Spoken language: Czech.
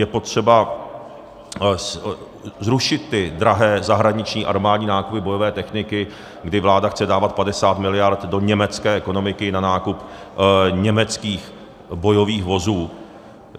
Je potřeba zrušit ty drahé zahraniční armádní nákupy bojové techniky, kdy vláda chce dávat 50 miliard do německé ekonomiky na nákup německých bojových vozů.